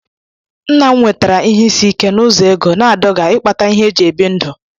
nna'm nwetara ihe isi ike n'ụzọ ego, na-adọga ịkpata ihe e ji ebi ndụ.